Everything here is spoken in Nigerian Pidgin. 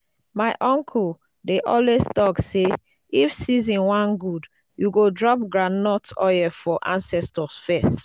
my uncle dey always talk say if season wan good you go drop groundnut oil for ancestors first